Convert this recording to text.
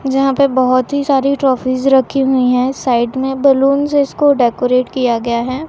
जहां पर बहुत ही सारी ट्रॉफीज रखी हुई है साइड में बलूंस जिसको डेकोरेट किया गया है।